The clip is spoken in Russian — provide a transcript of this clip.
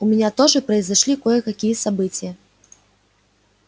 у меня тоже произошли кое-какие события